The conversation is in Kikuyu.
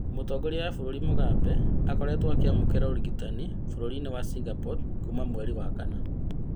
Mũtongoria wa bũrũri Mũgabe akoretwo akĩamũkira ũrigitani bũrũri-inĩ wa Singapore kuma mweri wa kana